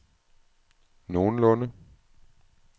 nogenlunde